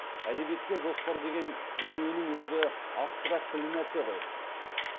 әдебиетте жоспар деген дүниенің өзі абстрактілі нәрсе ғой